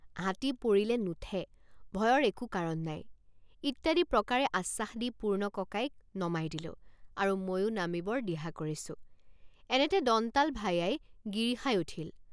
হাতী পৰিলে নুঠে ভয়ৰ একো কাৰণ নাই ইত্যাদি প্ৰকাৰে আশ্বাস দি পূৰ্ণ ককাইক নমাই দিলোঁ আৰু ময়ো নামিবৰ দিহা কৰিছোঁএনেতে দন্তাল ভায়াই গিৰিসাই উঠিল।